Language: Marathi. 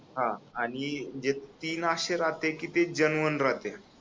हा आणि जे तीन अशे राहते की ते जेनुइन राहते